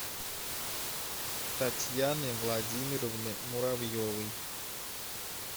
татьяны владимировны муравьевой